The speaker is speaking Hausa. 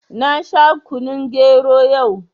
Na sha kunun gero yau